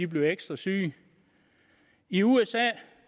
bliver ekstra syge i usa